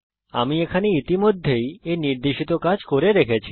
আমি এখানে ইতিমধ্যেই এই নির্দেশিত কাজ করে রেখেছি